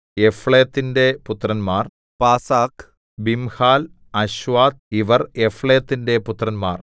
യഫ്ലേത്തിന്റെ പുത്രന്മാർ Pasach Bimhal Ashvath ഇവർ യഫ്ലേത്തിന്റെ പുത്രന്മാർ